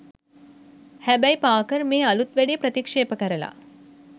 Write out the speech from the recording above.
හැබැයි පාකර් මේ අලුත් වැඩේ ප්‍රතික්ෂේප කරල